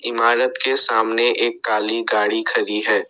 इमारत के सामने एक काली गाड़ी खड़ी है।